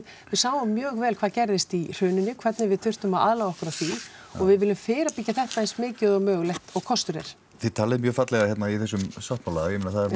sjáum mjög vel hvað gerðist í hruninu hvernig við þurftum að aðlaga okkur að því og við viljum fyrirbyggja þetta eins mikið og mögulegt og kostur er þið talið mjög fallega hérna í þessum sáttmála það